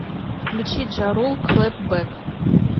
включи джа рул клэп бэк